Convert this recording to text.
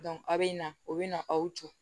a bɛ na o bɛ na aw jɔ